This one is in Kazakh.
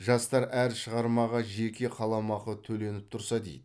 жастар әр шығармаға жеке қаламақы төленіп тұрса дейді